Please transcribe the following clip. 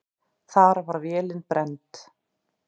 Þar var vélin brennd.